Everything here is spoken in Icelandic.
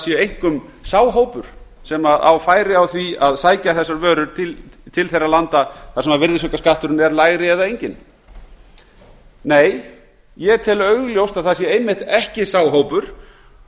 séu einkum sá hópur sem á færi á því að sækja þessar vörur til þeirra landa þar sem virðisaukaskatturinn er lægri eða enginn nei ég tel augljóst að það sé einmitt ekki sá hópur